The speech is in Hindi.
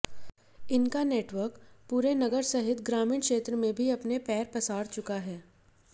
इनका नेटवर्क पूरे नगर सहित ग्रामीण क्षेत्र में भी अपने पैर पसार चुका है